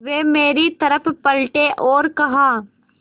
वे मेरी तरफ़ पलटे और कहा